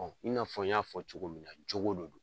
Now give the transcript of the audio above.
i n'a fɔ n y'a fɔ cogo min na, jogo de don.